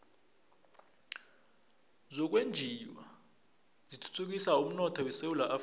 zokwenjiwa zithuthukisa umnotho esewula afrika